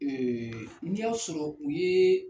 n'i y'a sɔrɔ u ye